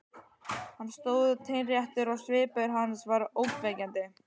Hann stóð teinréttur og svipur hans var ógnvekjandi.